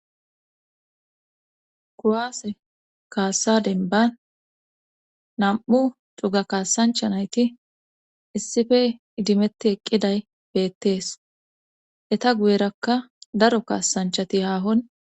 Kuwase kaasa dembban nam'u cuga kasanchcha nayti issippe idimethi eqqifay beetees. etta guyerakka daro kasanchati hahon